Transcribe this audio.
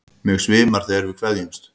Mig svimar þegar við kveðjumst.